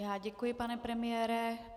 Já děkuji, pane premiére.